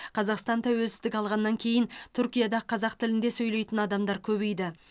қазақстан тәуелсіздік алғаннан кейін түркияда қазақ тілінде сөйлейтін адамдар көбейді